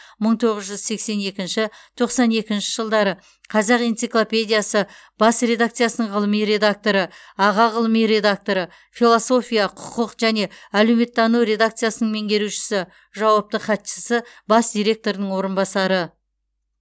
мың тоғыз жүз сексен екінші тоқсан екінші жылдары қазақ энциклопедиясы бас редакциясының ғылыми редакторы аға ғылыми редакторы философия құқық және әлеуметтану редакциясының меңгерушісі жауапты хатшысы бас директорының орынбасары